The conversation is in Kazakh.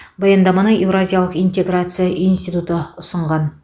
баяндаманы еуразиялық интеграция институты ұсынған